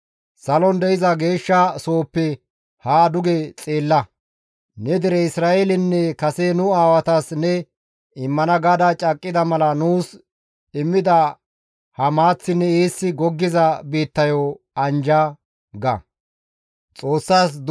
Neni salon de7iza geeshsha sohoppe haa duge xeella; ne dere Isra7eelenne kase nu aawatas ne immana gaada caaqqida mala nuus immida ha maaththinne eessi goggiza biittayo anjja» ga.